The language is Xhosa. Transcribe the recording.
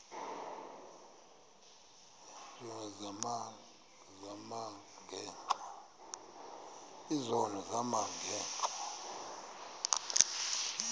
izono zam ngenxa